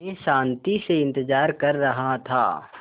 मैं शान्ति से इंतज़ार कर रहा था